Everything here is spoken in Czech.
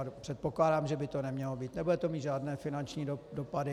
A předpokládám, že by to nemělo mít, nebude to mít žádné finanční dopady...